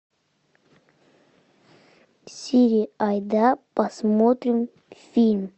сири айда посмотрим фильм